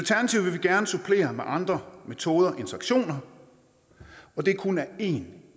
gerne supplere med andre metoder end sanktioner og det er kun af én